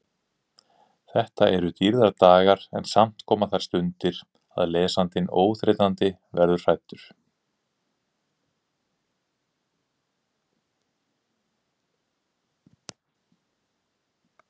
Þetta eru dýrðardagar en samt koma þær stundir að lesandinn óþreytandi verður hræddur.